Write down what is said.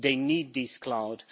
They need this cloud.